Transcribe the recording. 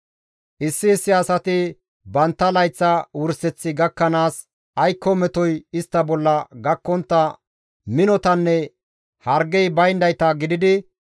Issi issi asati bantta layththa wurseththi gakkanaas aykko metoy istta bolla gakkontta minotanne hargey bayndayta gididi